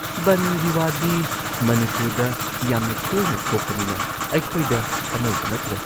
ꯕꯟꯗꯒꯤ ꯋꯥꯗꯤ ꯃꯅꯤꯄꯨꯔꯗ ꯌꯥꯝꯅ ꯇꯣꯏꯅ ꯊꯣꯛꯄꯅꯤꯅ ꯑꯩꯈꯣꯏꯗ ꯑꯅꯧꯕ ꯅꯠꯇ꯭ꯔꯦ ꯫